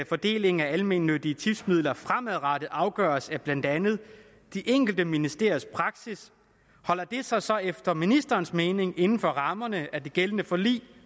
fordelingen af almennyttige tipsmidler fremadrettet afgøres af blandt andet de enkelte ministeriers praksis holder det sig så efter ministerens mening inden for rammerne af det gældende forlig